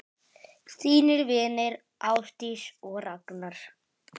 Þínir vinir, Ásdís og Ragnar.